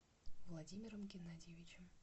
владимиром геннадьевичем